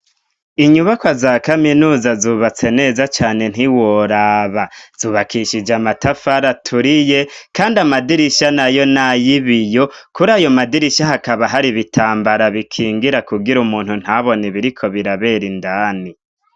Inyubakwa za kaminuza zubatse neza cane ntiworaba zubakishije amatafara aturiye kandi amadirishya nayo nay'ibiyo. Kur'ayomadirishya hakaba hari ibitambara bikingira kugira umuntu ntabone ibiriko birabera indani.